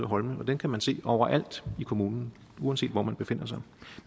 holme og dem kan man se overalt i kommunen uanset hvor man befinder sig